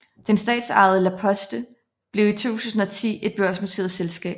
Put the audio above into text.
Det statsejede La Poste blev i 2010 et børsnoteret selskab